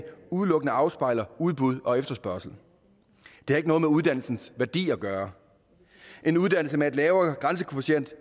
udelukkende afspejler udbud og efterspørgsel det har ikke noget med uddannelsens værdi at gøre en uddannelse med en lavere grænsekvotient